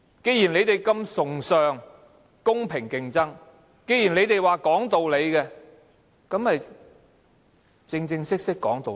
既然你們這麼崇尚公平競爭，既然你們說講道理，便正正式式講道理。